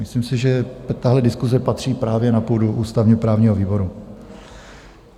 Myslím si, že tahle diskuse patří právě na půdu ústavně-právního výboru.